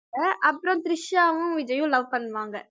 அப்புறம் திரிஷாவும் விஜய்யும் love பண்ணுவாங்க